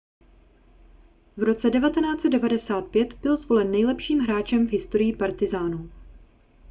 v roce 1995 byl zvolen nejlepším hráčem v historii partizánů